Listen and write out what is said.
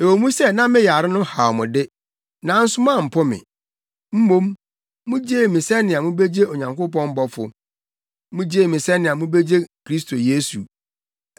Ɛwɔ mu sɛ na me yare no haw mo de, nanso moampo me. Mmom, mugyee me sɛnea mubegye Onyankopɔn bɔfo; mugyee me sɛnea mubegye Kristo Yesu.